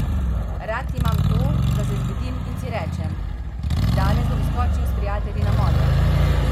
Rad imam to, da se zbudim in si rečem: 'Danes bom skočil s prijatelji na morje.